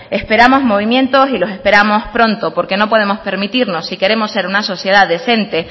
esperamos movimientos y los esperamos pronto porque no podemos permitirnos si queremos ser una sociedad decente